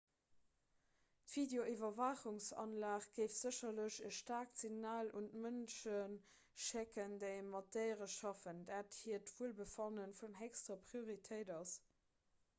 d'videoiwwerwaachungsanlag géif sécherlech e staarkt signal un d'mënsche schécken déi mat déiere schaffen datt hiert wuelbefanne vun héchster prioritéit ass